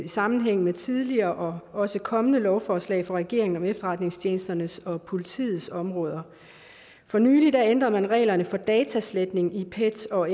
sammenhæng med tidligere og også kommende lovforslag fra regeringen om efterretningstjenesternes og politiets områder for nylig ændrede man reglerne for datasletning i pet og